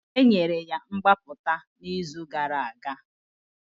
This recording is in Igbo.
Enyere ya mgbapụta n'izu gara aga